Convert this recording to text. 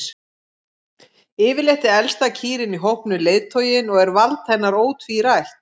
Yfirleitt er elsta kýrin í hópnum leiðtoginn og er vald hennar ótvírætt.